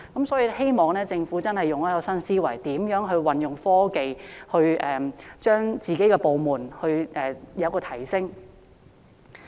所以希望政府運用新思維，運用科技提升有關部門的工作成效。